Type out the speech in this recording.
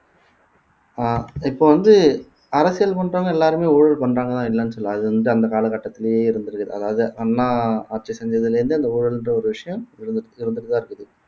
அஹ் இப்போ வந்து அரசியல் பண்றவங்க எல்லாருமே ஊழல் பண்றாங்களா என்னனு சொல்லலை அது வந்து அந்த காலகட்டத்திலேயே இருந்திருக்குது அதாவது அண்ணா ஆட்சி செஞ்சதிலே இருந்து அந்த ஊழல்ன்ற ஒரு விஷயம் இருந்துட்டு இருந்துட்டுதான் இருக்குது